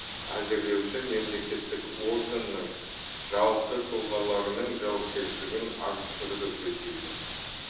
әзірлеуші мемлекеттік органның жауапты тұлғаларының жауапкершілігін арттыруды көздейді